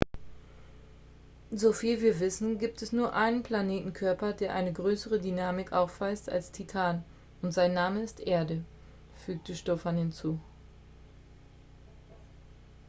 "soviel wir wissen gibt es nur einen planetenkörper der eine größere dynamik aufweist als titan und sein name ist erde" fügte stofan hinzu.